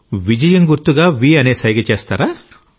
విజయం గుర్తుగా వ్ అనే సైగ చేస్తారా